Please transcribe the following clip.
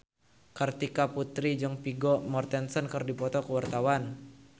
Kartika Putri jeung Vigo Mortensen keur dipoto ku wartawan